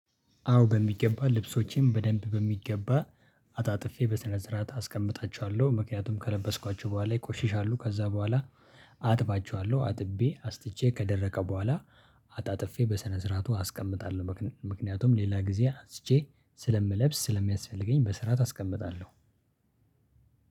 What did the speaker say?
አዎ በሚገባ ልብሶቼን በደንብ በሚገባ አጣጥፌ በስነ ስርዓት አስቀምጣችኋለሁ ምክንያቱም ከለበስኳቸው በኋላ ይቆሽሻሉ ከዛ በኋላ አጥባቸዋለሁ አጥቤ አስጥቼ ከደረቀ በኋላ አጣጥፌ በስነ ስርዓቱ አስቀምጣለሁ። ምክንያቱም ሌላ ጊዜ አንስቼ ስለምለብስ ስለሚያስፈልገኝ በስራት አስቀምጣለሁ።